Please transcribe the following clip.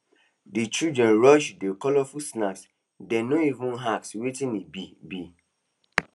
the children rush the colorful snack dem no even ask wetin e be be